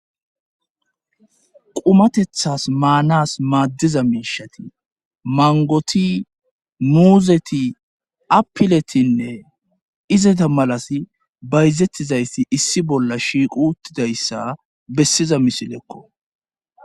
qumatethas maanas maaddiza miishati mangoti nuuzeti apiletinne izata malas bayzettizayssi issi bolla shiiqu uttidayssa bessiza misilekko.